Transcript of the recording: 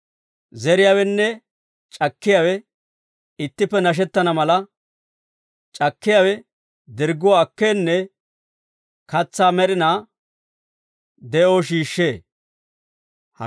Zeriyaawenne c'akkiyaawe ittippe nashettana mala, c'akkiyaawe dirgguwaa akkeenne katsaa med'inaa de'oo shiishshee.